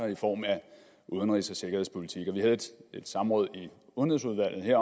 i form af udenrigs og sikkerhedspolitik vi havde et samråd i udenrigsudvalget